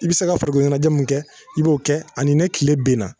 I bi se ka farikolo ɲɛnajɛ mun kɛ i b'o kɛ ani ne tile benna